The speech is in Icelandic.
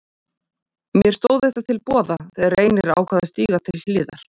Mér stóð þetta til boða þegar Reynir ákvað að stíga til hliðar.